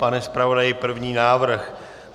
Pane zpravodaji, první návrh.